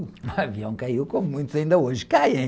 O avião caiu como muitos ainda hoje caem.